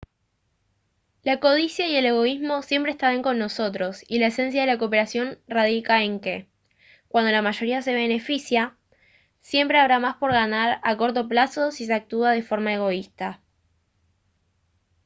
la codicia y el egoísmo siempre estarán con nosotros y la esencia de la cooperación radica en que cuando la mayoría se beneficia siempre habrá más por ganar a corto plazo si se actúa de forma egoísta